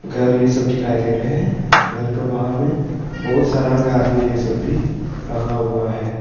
गाड़ी ये सब दिखाई दे रहे हैं घर का बाहर में बहुत सारा गाड़ी ये सब भी रखा हुआ है।